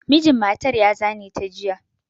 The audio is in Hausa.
Mijin matan ya zane ta jiya.